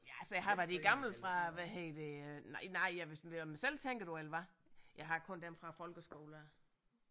Ja altså jeg har da de gamle fra hvad hedder det nej nej ja hvis mener du mig selv tænker du eller hvad jeg har kun dem fra folkeskolen af